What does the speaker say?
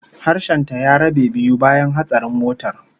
Harshen ta ya rabe biyu bayan hatsarin motar